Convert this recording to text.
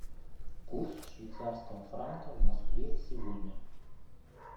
курс швейцарского франка в москве сегодня